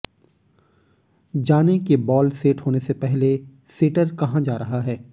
जानें कि ball set होने से पहले सेटर कहाँ जा रहा है